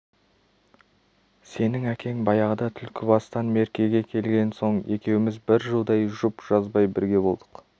сенің әкең баяғыда түлкібастан меркеге келген соң екеуміз бір жылдай жұп жазбай бірге болдық